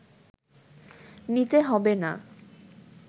নিতে হবে না